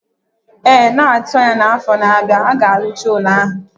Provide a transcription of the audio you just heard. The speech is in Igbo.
Ee, na-atụ anya na afọ na-abịa, a ga-arụcha ụlọ ahụ